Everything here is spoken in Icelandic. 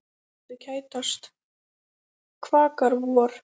Hjörtu kætast, kvakar vor.